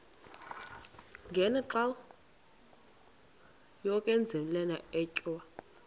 ngenxa yokazinikela etywa